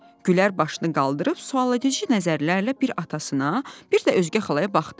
Gülər başını qaldırıb sualedici nəzərlərlə bir atasına, bir də özgə xalaya baxdı.